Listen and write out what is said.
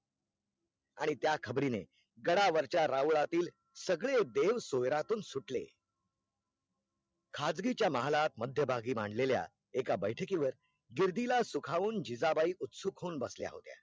खाजगीच्या महालात मध्य भागी मांडलेल्या एका बैठकीवर गिर्दिला सुखावून जिजाबाई उत्सुक होऊन बसल्या होत्या